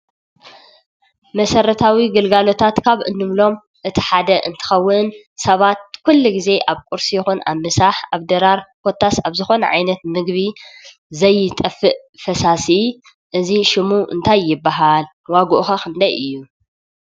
መሰረታዊ ግልጋሎታት ካብ እንብሎም እቲ ሓደ እንትኸውን ሰባት ኩሉ ግዜ ኣብ ቁርሲ ይኹን ኣብ ምሳሕ ኣብ ድራር ኮታስ ኣብ ዝኾነ ዓይነት ምግቢ ዘይጠፍእ ፈሳሲ እዚ ሽሙ እንታይ ይበሃል? ዋግኡ ኸ ክንደይ እዩ?